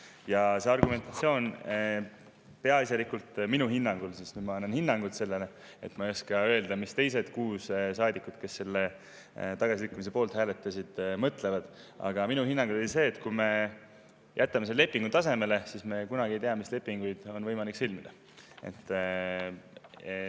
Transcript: Ja see argumentatsioon oli minu hinnangul – ma annan sellele hinnangut, aga ma ei oska öelda, mida teised kuus saadikut, kes selle tagasilükkamise poolt hääletasid, mõtlevad – peaasjalikult see, et kui me jätame selle lepingu tasemele, siis me kunagi ei tea, mis lepinguid on võimalik sõlmida.